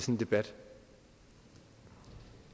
en debat